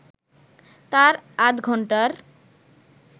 তার আধঘন্টার